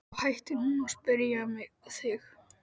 Þá hættir hún að spyrja þig.